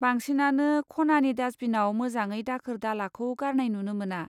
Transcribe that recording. बांसिनानो खनानि दास्टबिनाव मोजाङै दाखोर दालाखौ गारनाय नुनो मोना।